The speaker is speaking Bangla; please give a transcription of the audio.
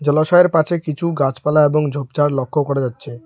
জলাশয়ের পাছে কিছু গাছপালা এবং ঝোপঝাড় লক্ষ করা যাচ্ছে।